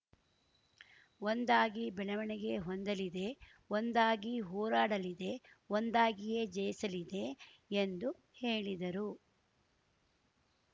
ಒಂದಾಗಿ ಬೆಳವಣಿಗೆ ಹೊಂದಲಿದೆ ಒಂದಾಗಿ ಹೋರಾಡಲಿದೆ ಒಂದಾಗಿಯೇ ಜಯಿಸಲಿದೆ ಎಂದು ಹೇಳಿದರು